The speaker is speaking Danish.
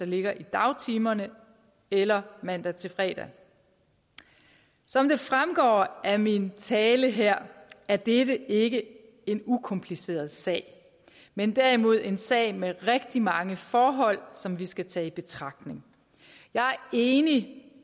ligger i dagtimerne eller mandag til fredag som det fremgår af min tale her er dette ikke en ukompliceret sag men derimod en sag med rigtig mange forhold som vi skal tage i betragtning jeg er enig